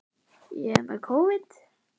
Ef pabbi hans og mamma leyfðu.